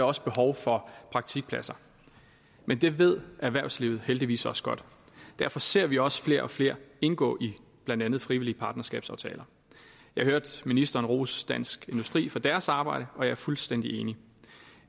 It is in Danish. også behov for praktikpladser men det ved erhvervslivet heldigvis også godt og derfor ser vi også flere og flere indgå i blandt andet frivillige partnerskabsaftaler jeg hørte ministeren rose dansk industri for deres arbejde og jeg er fuldstændig enig